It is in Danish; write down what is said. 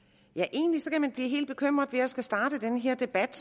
egentlig kan man blive helt bekymret ved at skulle starte den her debat